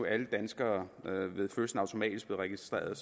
alle danskere ved fødslen automatisk blev registrerede